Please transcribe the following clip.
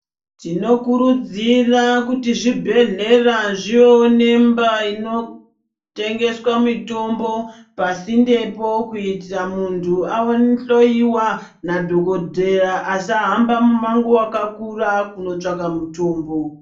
Tinokurudzira kuti zvibhedhlera zvivewo nemba inotengeswa mutombo kuitira muntu awo ahloiwa nadhokodheya asahamba mumango wakakura kinotsvaka mutombo.